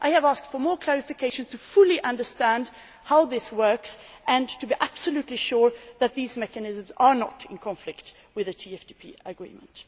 I have asked for more clarification to fully understand how this works and to be absolutely sure that these mechanisms are not in conflict with the TFTP Agreement.